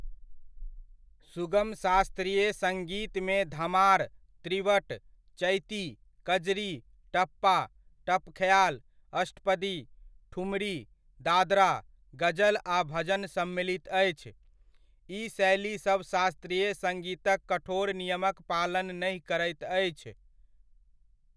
सुगम शास्त्रीय सङ्गीतमे धमार, त्रिवट, चैती, कजरी, टप्पा, टप ख्याल, अष्टपदी, ठुमरी, दादरा, गजल आ भजन सम्मिलित अछि। ई शैलीसभ शास्त्रीय संगीतक कठोर नियमक पालन नहि करैत अछि।